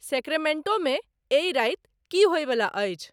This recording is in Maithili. सेक्रेमेंटो मे एहि राइत की होइ बला अछि